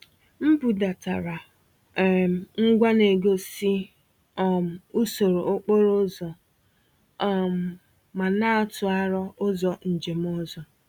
M budatara um ngwa na-egosi um usoro okporo ụzọ um ma na-atụ aro ụzọ njem ọzọ.